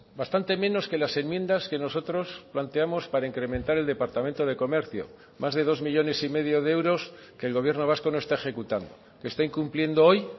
bastante menos que las enmiendas que nosotros planteamos para incrementar el departamento de comercio más de dos millónes y medio de euros que el gobierno vasco no está ejecutando que está incumpliendo hoy